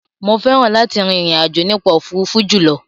Mo fẹ́ràn láti rin ìrìn àjò nípa òfuurufú jùlọ.